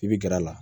I bi gɛrɛ a la